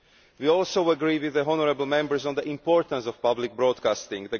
We also agree with honourable Members on the importance of public broadcasting.